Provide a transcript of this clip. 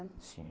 Sim.